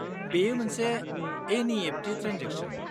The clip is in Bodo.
-बेयो मोनसे एन.इ.एफ.टि. ट्रेन्जेकसन।